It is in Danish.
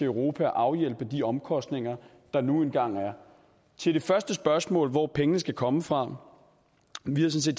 europa at afhjælpe de omkostninger der nu engang er til det første spørgsmål hvor pengene skal komme fra vil jeg sige